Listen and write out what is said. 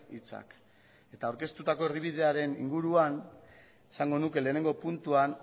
hitzak eta aurkeztutako erdibidearen inguruan esango nuke lehenengo puntuan